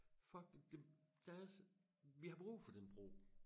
Fuck det der er så vi har brug for den bro